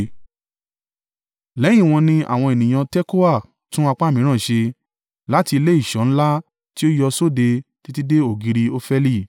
Lẹ́yìn wọn ni àwọn ènìyàn Tekoa tún apá mìíràn ṣe, láti ilé ìṣọ́ ńlá tí ó yọ sóde títí dé ògiri Ofeli.